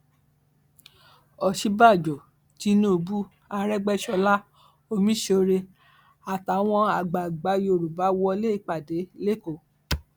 òsínbàjọ tínúbù àrègbèsọlẹ omiṣọrẹ àtàwọn àgbààgbà yorùbá wọlé ìpàdé lẹkọọ